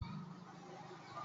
Nọ̀ọ́si sa ba máa n wọ kaba fúnfún.